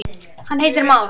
hann heitir már.